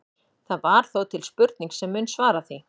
Það er þó til spurning sem mun svara því.